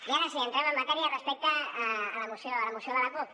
i ara sí entrem en matèria respecte a la moció de la cup